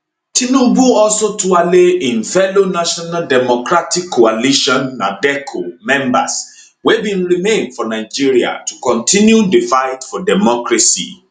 tinubu also tuale im fellow national democratic coalition nadeco members wey bin remain for nigeria to continue di fight for democracy